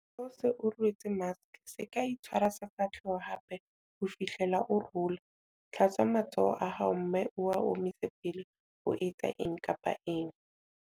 Ha o se o rwetse maske, SE KA ITSHWARA SEFAHLEHO hape ho fihlela o rola. Hlatswa matsoho a hao mme o a omise pele o etsa eng kapa eng. 9.